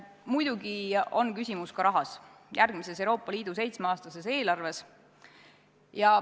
Muidugi on küsimus ka rahas, järgmises Euroopa Liidu seitsmeaastases eelarves.